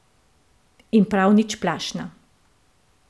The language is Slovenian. In prav nič plašna.